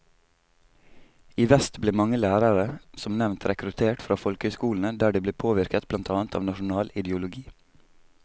I vest ble mange lærere som nevnt rekruttert fra folkehøyskolene, der de ble påvirket blant annet av nasjonal ideologi.